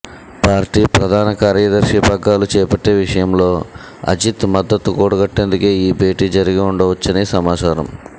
party ప్రధాన కార్యదర్శి పగ్గాలు చేపట్టే విషయంలో అజిత్ మద్దతు కూడగట్టేందుకే ఈ భేటీ జరిగి ఉండవచ్చని సమాచారం